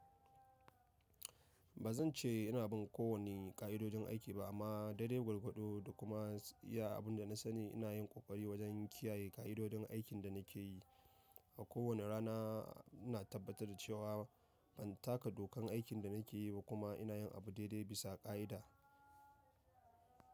Ba zan ce ina bin kowane ƙa'idodin aiki ba amma dare gwargwado da kuma iya abin da na sani ina yin ƙoƙari wajen kiyaye ƙa'idodin aikin da nake yi. A kowane rana ina tabbatar da cewa ban taka dokan aikin da nake yi ba kuma ina yin abu daidai bisa ƙa'ida.